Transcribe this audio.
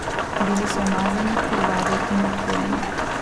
Bili so umazani, krvavi in utrujeni.